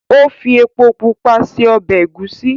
o fí èpo pupa ṣe ọbẹ egusi.